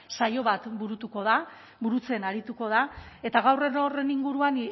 saio bat burutuko da burutzen arituko da eta gaur gero horren inguruan